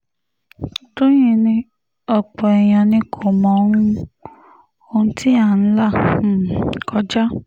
tọ́yìn ni ọ̀pọ̀ èèyàn ni kò mọ um ohun tí à ń là um kọjá